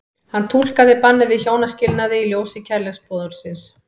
Hann túlkaði bannið við hjónaskilnaði í ljósi kærleiksboðorðsins.